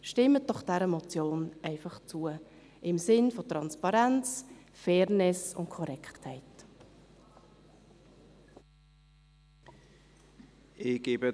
Stimmen Sie dieser Motion im Sinne von Transparenz, Fairness und Korrektheit zu.